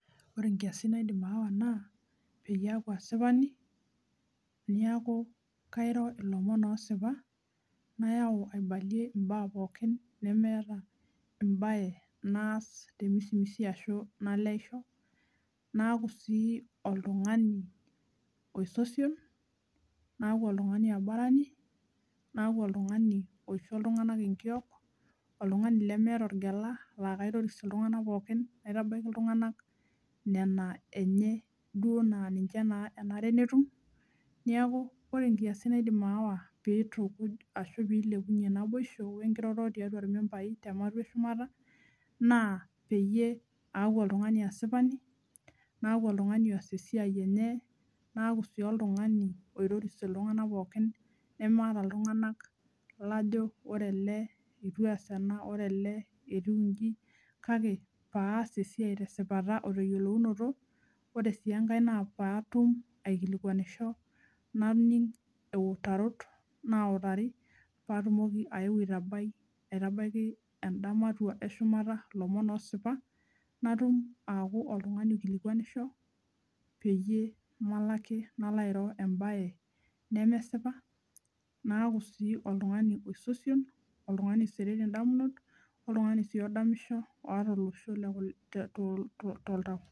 Ore nkiasin naidim aawa naa peyie aaku asipani niaku kairo ilomon osipa nayau aibalie imbaa pookin nemeeta embae naas temisimisi ashu naleisho naaku sii oltungani oisosion , naaku oltungani aborani naaku oltungani oisho iltunganak enkiok oltungani lemeeta orgela laa kaitoris iltunganak pookin naitabaiki iltunganak nena enye naa ninche enare netum, niaku ore nkiasin naidim aawa pitukuj ashu pilepunyie naboisho wenkiroroto tiatua irmembai tematua eshumata na peyie aaku oltungani asipani , naaku oltungani oas esiai enye , naaku sii oltungani oitoris iltunganak pookin nemaata iltunganak lajo ore ele eitu eas ena , ore ele etiu inji kake paas esiai tesipata oteyiolounoto ore sii enkae naa paatum aikilikwanisho naning iutarot nautari paatumoki aeu aitabai endamatua eshumuta ilomon osipa , natum aaku oltungani oikilikwanisho peyie malo ake nalo airo embae nemesipa naaku oltungani oisosion , oltungani oisirri indamunot oltungani sii odamisho oota olosho too toltau.